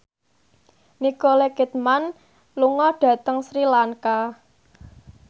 Nicole Kidman lunga dhateng Sri Lanka